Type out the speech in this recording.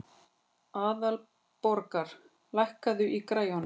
Aðalborgar, lækkaðu í græjunum.